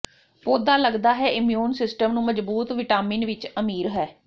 ਪੌਦਾ ਲਗਦਾ ਹੈ ਇਮਿਊਨ ਸਿਸਟਮ ਨੂੰ ਮਜ਼ਬੂਤ ਵਿਟਾਮਿਨ ਵਿਚ ਅਮੀਰ ਹੈ